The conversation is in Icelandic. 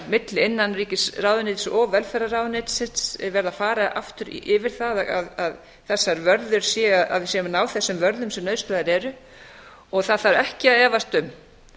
milli innanríkisráðuneytisins og velferðarráðuneytisins verið að fara aftur yfir það að við séum að ná þessum vörðum sem nauðsynlegar eru og það þarf ekki að efast um